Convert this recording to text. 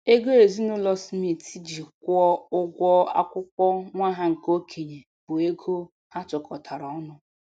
Ego ezinụlọ Smith ji kwụọ ụgwọ akwụkwọ nwa ha nke okenye bụ ego ha tụkọtara ọnụ.